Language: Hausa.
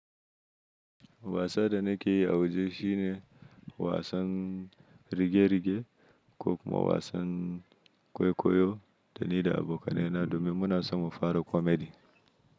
Wasa da nake yi a waje shine wasan rige-rige ko kuma wasan kwaikwayo da ni da abokanai na domin muna so mu fara comedy.